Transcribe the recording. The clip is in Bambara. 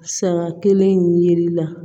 Saga kelen in yeli la